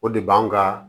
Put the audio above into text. O de b'an ka